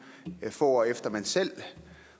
få år efter at man selv